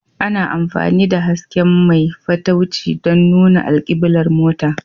Ana amfani da hasken mai fatauci don nuna alkiblar mota